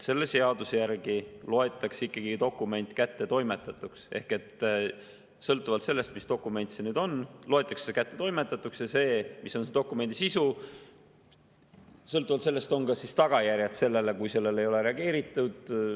Selle seaduse järgi loetakse dokument kättetoimetatuks ja sõltuvalt sellest, mis dokument see on, mis on selle dokumendi sisu, on siis tagajärjed sellel, kui sellele ei ole reageeritud.